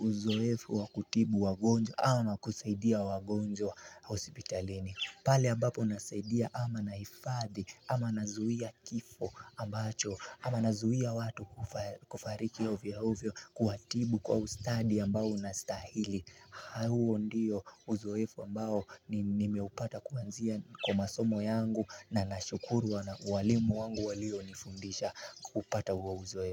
uzoefu wakutibu wagonjwa ama kusaidia wagonjwa hospitalini pale ambapo nasaidia ama naifadhi, ama nazuia kifo ambacho, ama nazuia watu kufa kufariki ovyo ovyo kuatibu kwa ustadi ambao unastahili Hawo ndiyo uzoefu ambao nimeupata kuanzia kwamasomo yangu na nashukuru wana walimu wangu walio nifundisha kupata huo uzoe.